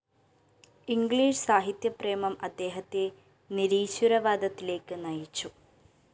English സാഹിത്യപ്രേമം അദ്ദേഹത്തെ നിരീശ്വരവാദത്തിലേക്ക് നയിച്ചു